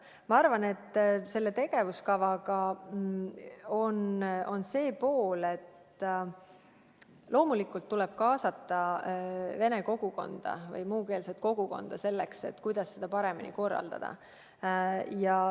Ma arvan, et selle tegevuskava puhul tuleb loomulikult kaasata vene kogukonda või ka muukeelset kogukonda, et arutada, kuidas seda paremini korraldada.